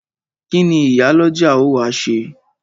Kíni Ìyálọ́jà ó wá ṣe?